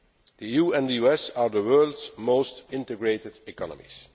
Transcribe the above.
The EU and the US are the world's most integrated economies.